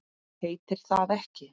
Heitir það ekki